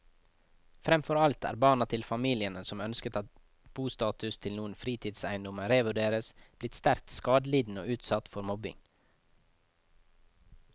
Fremfor alt er barna til familiene som ønsker at bostatus til noen fritidseiendommer revurderes, blitt sterkt skadelidende og utsatt for mobbing.